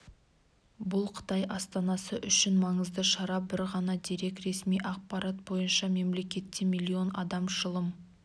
бұл қытай астанасы үшін маңызды шара бір ғана дерек ресми ақпарат бойынша мемлекетте млн адам шылым